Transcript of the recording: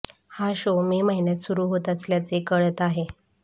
हा शो मे महिन्यात सुरु होत असल्याचे कळत आहे